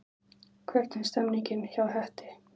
Hvernig er stemningin hjá Hetti?